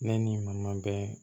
Ne ni n ma bɛn